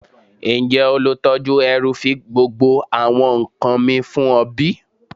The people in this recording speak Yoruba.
Njẹ olutọju ẹru fi gbogbo awọn nkan mi fun ọ bi?